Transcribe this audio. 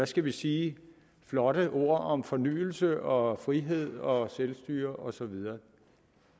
skal vi sige flotte ord om fornyelse og frihed og selvstyre og så videre